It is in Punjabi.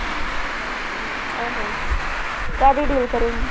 ਆਹੋ ਕਾਹਦੀ deal ਕਰੇਂਗੀ?